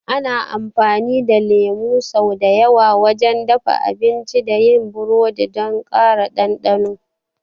Ana amfani da lemu sau da yawa wajen dafa abinci da yin burodi don ƙara ɗanɗano.